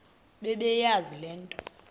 bebeyazi le nto